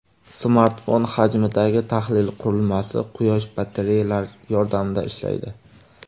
Smartfon hajmidagi tahlil qurilmasi quyosh batareyalari yordamida ishlaydi.